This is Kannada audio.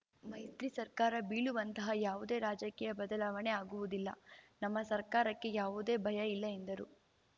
ಮೈತ್ರಿ ಸರ್ಕಾರ ಬೀಳುವಂತಹ ಯಾವುದೇ ರಾಜಕೀಯ ಬದಲಾವಣೆ ಆಗುವುದಿಲ್ಲ ನಮ್ಮ ಸರ್ಕಾರಕ್ಕೆ ಯಾವುದೇ ಭಯ ಇಲ್ಲ ಎಂದರು